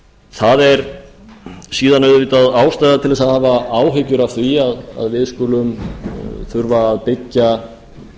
það er síðan auðvitað ástæða til að hafa áhyggjur af því að við skulum þurfa að byggja